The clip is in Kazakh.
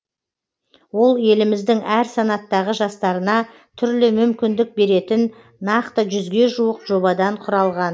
ол еліміздің әр санаттағы жастарына түрлі мүмкіндік беретін нақты жүзге жуық жобадан құралған